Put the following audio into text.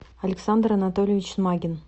александр анатольевич смагин